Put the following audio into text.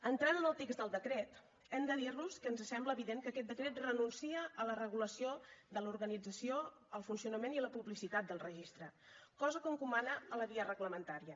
entrant en el text del decret hem de dir los que ens sembla evident que aquest decret renuncia a la regulació de l’organització el funcionament i la publicitat del registre cosa que encomana a la via reglamentària